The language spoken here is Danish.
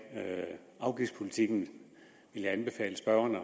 afgiftspolitikken vil jeg anbefale spørgeren at